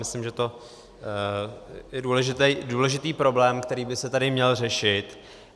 Myslím, že to je důležitý problém, který by se tady měl řešit.